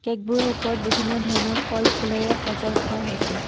কেকবোৰৰ ওপৰত বিভিন্ন ধৰণৰ ফল-ফুলেৰে সজাই থোৱা হৈছে।